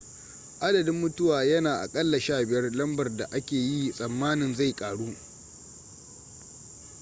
adadin mutuwa yana a aƙalla 15 lambar da ake yi tsammanin zai ƙaru